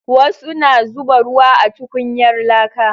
Wasu na zuba ruwa a tukunyar laka